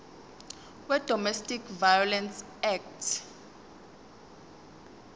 wedomestic violence act